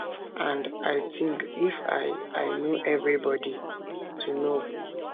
and i think if i i know evribodi too know